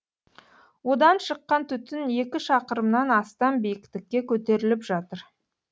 одан шыққан түтін екі шақырымнан астам биіктікке көтеріліп жатыр